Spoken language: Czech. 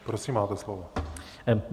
Prosím, máte slovo.